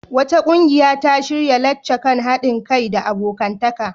Wata ƙungiya ta shirya lacca kan haɗin kai da abokantaka.